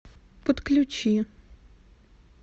подключи